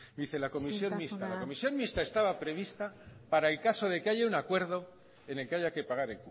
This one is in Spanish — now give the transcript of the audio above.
dice la comisión mixta isiltasuna la comisión mixta estaba prevista para el caso de que haya un acuerdo en el que haya que pagar